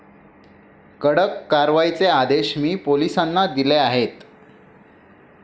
कडक कारवाईचे आदेश मी पोलीसांना दिले आहेत.